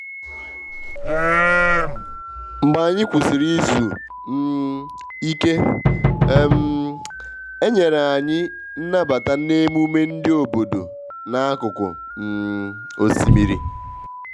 mgbe anyị kwusịrị izu um ike um e nyere anyị nnabata n`emume ndi obodo n`akụkụ um osimmiri